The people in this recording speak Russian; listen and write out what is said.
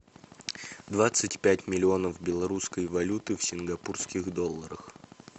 двадцать пять миллионов белорусской валюты в сингапурских долларах